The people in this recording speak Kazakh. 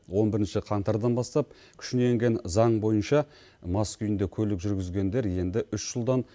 он бірінші қаңтардан бастап күшіне енген заң бойынша мас күйінде көлік жүргізгендер енді үш жылдан